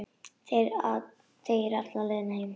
Þegir alla leiðina heim.